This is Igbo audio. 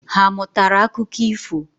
Ha amụtara akụkọ ifo?